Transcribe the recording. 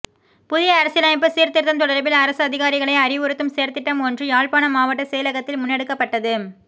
புதிய அரசியலமைப்பு சீர் திருத்தம் தொடர்பில் அரச அதிகாரிகளை அறிவுறுத்தும் செயற்திட்டம் ஒன்று யாழ்ப்பாணமாவட்ட செயலகத்தில் முன்னெடுக்கப்பட்டது